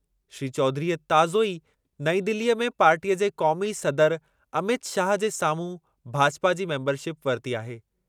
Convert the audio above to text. श्री चौधरीअ ताज़ो ई नई दिलीअ में पार्टीअ जे क़ौमी सदर अमित शाह जे साम्हूं भाजपा जी मेंबरशिप वरिती आहे।